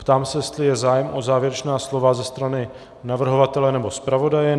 Ptám se, jestli je zájem o závěrečná slova ze strany navrhovatele nebo zpravodaje.